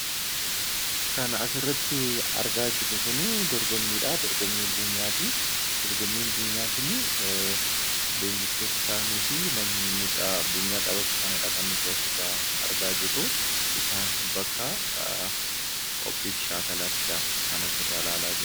Kan asirratti argaa jirru kun dorgommiidha. Dorgommiin kun dorgommii buunyaati. Dorgommuun buunyaa kun leenjistoota isaaniifi mucaa buunyaa taphatudha kan asirraa argaa jirru. Isaan bakka qophiif shaakalaattidha kan asirraa ilaalaa jirru.